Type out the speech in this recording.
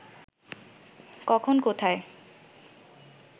কখন কোথায়